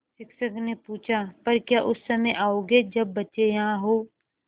शिक्षक ने पूछा पर क्या उस समय आओगे जब बच्चे यहाँ हों